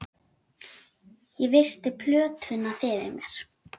Ég virti plötuna fyrir mér.